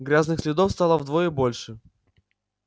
грязных следов стало вдвое больше